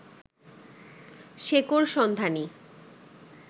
শেকড়সন্ধানী